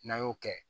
N'an y'o kɛ